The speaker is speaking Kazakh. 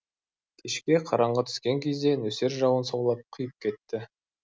кешке қараңғы түскен кезде нөсер жауын саулап құйып кетті